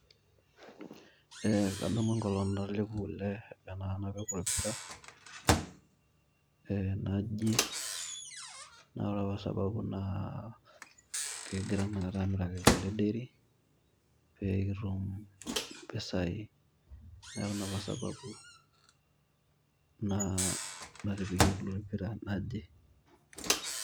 Ee kadamu enkolong natelepuo kule niput orpira ee naji. Naa ore apa sababu naa kegira inakata amiraki kule dairy pee kitum impisai niaku Ina apa sababu naa natipikie kule orpira naji .